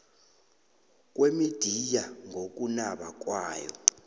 kwemidiya ngokunaba kwayo